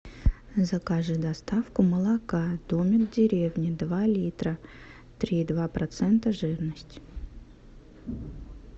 закажи доставку молока домик в деревне два литра три и два процента жирность